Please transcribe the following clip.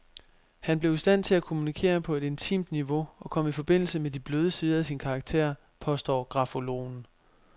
Han blev i stand til at kommunikere på et intimt niveau og kom i forbindelse med de bløde sider af sin karakter, påstår grafologen.